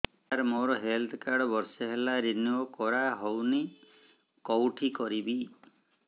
ସାର ମୋର health card ବର୍ଷେ ହେଲା ରିନିଓ କରା ହଉନି କଉଠି କରିବି